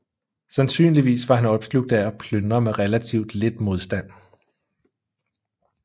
Sandsynligvis var han opslugt af at plyndre med relativt lidt modstand